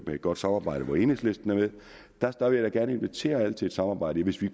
et godt samarbejde hvor enhedslisten er med der vil jeg da gerne invitere alle til et samarbejde hvis vi